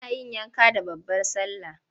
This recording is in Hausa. Ana yin yanka da babbar sallah.